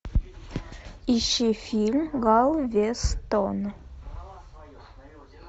ищи фильм галвестон